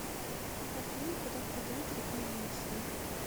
афина куда впадает река енисей